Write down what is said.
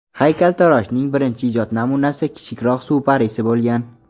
Haykaltaroshning birinchi ijod namunasi kichikroq suv parisi bo‘lgan.